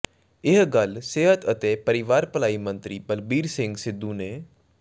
ਇਹ ਗੱਲ ਸਿਹਤ ਅਤੇ ਪਰਿਵਾਰ ਭਲਾਈ ਮੰਤਰੀ ਬਲਬੀਰ ਸਿੰਘ ਸਿੱਧੂ ਨੇ